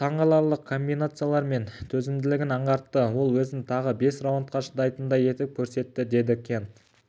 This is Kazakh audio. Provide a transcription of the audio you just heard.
таңғаларлық комбинациялар мен төзімділігін аңғартты ол өзін тағы бес раундқа шыдайтындай етіп көрсетті деді кент